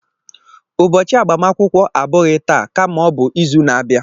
Ụbọchị agbamakwụkwọ abụghị taa kama o bu izu na-abịa